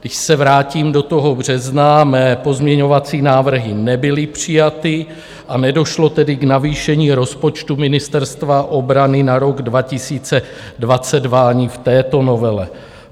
Když se vrátím do toho března, mé pozměňovací návrhy nebyly přijaty a nedošlo tedy k navýšení rozpočtu Ministerstva obrany na rok 2022 ani v této novele.